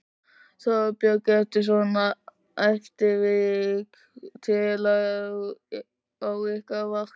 Þorbjörn: Eru svona atvik tíð á ykkar vakt?